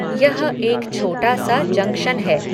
यह एक छोटा सा जंक्शन है